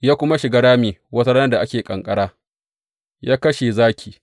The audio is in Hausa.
Ya kuma shiga rami wata ranar da ake ƙanƙara, ya kashe zaki.